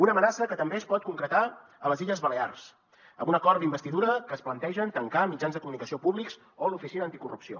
una amenaça que també es pot concretar a les illes balears amb un acord d’investidura que es planteja tancar mitjans de comunicació públics o l’oficina anticorrupció